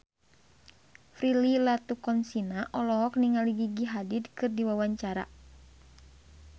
Prilly Latuconsina olohok ningali Gigi Hadid keur diwawancara